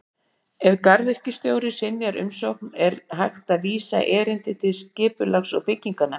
Ef garðyrkjustjóri synjar umsókn er hægt að vísa erindi til Skipulags- og bygginganefndar.